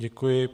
Děkuji.